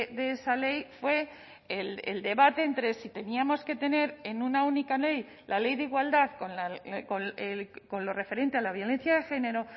de esa ley fue el debate entre si teníamos que tener en una única ley la ley de igualdad con lo referente a la violencia de género o